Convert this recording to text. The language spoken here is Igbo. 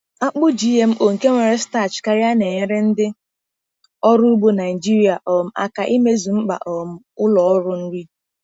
akpụ GMO nke nwere starch karịa na-enyere ndị ọrụ ugbo Nijiria um aka imezu mkpa um ụlọ ọrụ nri.